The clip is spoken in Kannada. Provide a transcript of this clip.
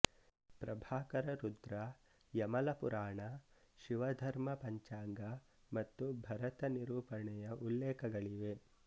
ಪ್ರಭಾಕರ ರುದ್ರ ಯಮಲ ಪುರಾಣ ಶಿವಧರ್ಮ ಪಂಚಾಂಗ ಮತ್ತು ಭರತ ನಿರೂಪಣೆಯ ಉಲ್ಲೇಖಗಳಿವೆ